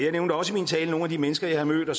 den